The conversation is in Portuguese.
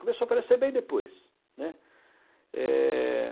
Começou a aparecer bem depois, né. É...